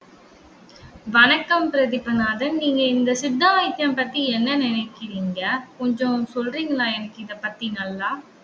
வணக்கம் பிரதீபநாதன். நீங்க இந்த சித்தா வைத்தியம் பத்தி என்ன நினைக்கிறீங்க? கொஞ்சம் சொல்றீங்களா? எனக்கு இதை பத்தி நல்லா